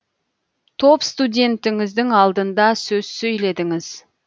топ студентіңіздің алдында сөз сөйледіңіз